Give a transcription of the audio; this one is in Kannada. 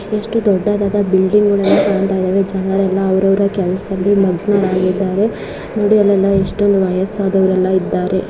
ಎಷ್ಟು ದೊಡ್ಡದಾದ ಬಿಲ್ಡಿಂಗ್ ಗುಳು ಕಾಣತ್ತಾ ಇದಾವೆ ಜನರೆಲ್ಲ ಅವರವರ ಕೆಲಸದಲ್ಲಿ ಮಗ್ನರಾಗಿದ್ದಾರೆ ನೋಡಿ ಅಲ್ಲೆಲ್ಲ ಎಷ್ಟು ವಯಸ್ಸಾದವರು ಇದ್ದಾರೆ.